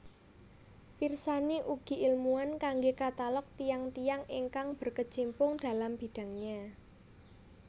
Pirsani ugi ilmuwan kanggé katalog tiyang tiyang ingkang berkecimpung dalam bidangnya